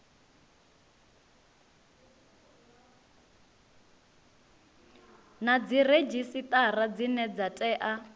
na dziredzhisitara dzine dza tea